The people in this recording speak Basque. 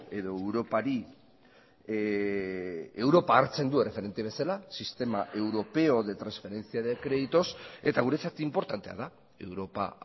edo europari europa hartzen du erreferente bezala sistema europeo de transferencia de créditos eta guretzat inportantea da europa